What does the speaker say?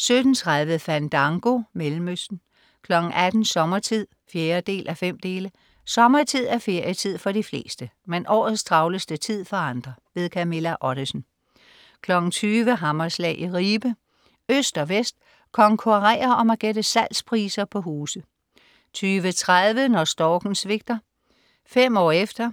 17.30 Fandango, Mellemøsten 18.00 Sommertid. 4:5. Sommertid er ferietid for de fleste, men årets travleste tid for andre. Camilla Ottesen 20.00 Hammerslag i Ribe. Øst og vest konkurrerer om at gætte salgspriser på huse 20.30 Når storken svigter: Fem år efter